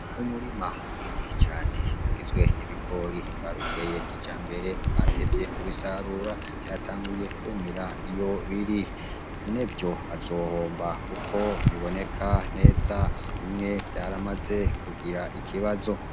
Umurima munini cane ugizwe n'ibigori babiteye kijambere batevye kubisarura vyatanguye kwumira iyo biri nyenevyo azohomba kuko biboneka neza bimwe vyaramaze kugira ikibazo.